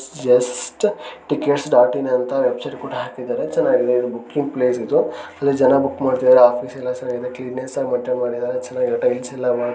ಜಅಹ್ ಸ್ಟ್ tickets dot in ಅಂತ website ಕೂಡ ಹಾಕಿದರೆ ಚನಗಿದೆ ಇದು ಬುಕ್ಕಿಂಗ್ ಪ್ಲೇಸ್ ಇದು ಜನ ಬುಕ್ ಮಾಡ್ತಿದಾರೆ ಅಫಿಸೆಲ್ಲ ಚನಗಿದೆ ಕ್ಲಿನೆಸ್ ಅಗ್ ಮೆಂಟೈನ್ ಮಾಡಿದರೆ ಚನಗಿದೆ ಟೈಲ್ಸ್ ಯಲ್ಲ ಮಾಡ್ಸ್